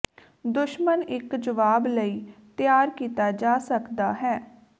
ਦੁਸ਼ਮਣ ਇੱਕ ਜਵਾਬ ਲਈ ਤਿਆਰ ਕੀਤਾ ਜਾ ਸਕਦਾ ਹੈ